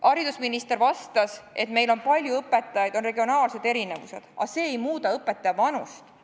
Haridusminister vastas, et meil on palju õpetajaid, on regionaalsed erinevused, aga see ei muuda õpetaja vanust.